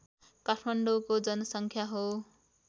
काठमाडौँको जनसङ्ख्या हो